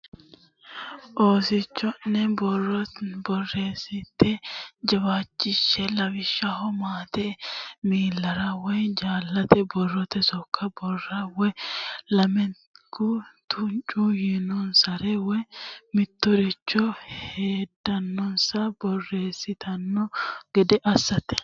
Oosicho ne borreessate jawaachishshe lawishshaho maatete miillara woy jaallate borrote sokka barraho woy lamalate tuncu yiinonsare woy mitturichire hedonsa borreessitanno gede assate.